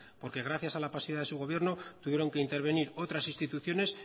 porque gracias a la pasividad de su gobierno tuvieron que intervenir otras instituciones